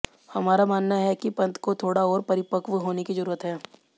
हमारा मानना है कि पंत को थोड़ा और परिपक्व होने की जरूरत है